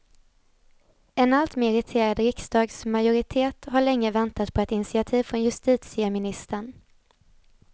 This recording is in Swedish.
En alltmer irriterad riksdagsmajoritet har länge väntat på ett initiativ från justitieministern.